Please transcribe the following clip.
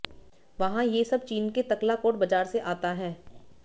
वहां ये सब चीन के तकलाकोट बाज़ार से आता है